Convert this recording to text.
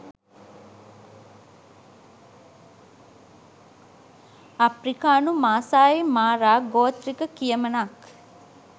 අප්‍රිකානු Maasai Mara ගෝත්‍රික කියමනක්